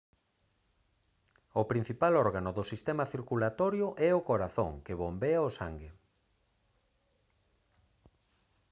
o principal órgano do sistema circulatorio é o corazón que bombea o sangue